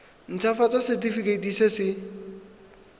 nt hafatsa setefikeiti se se